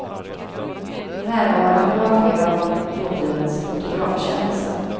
Närvarande var flera av dåtidens fotografkändisar.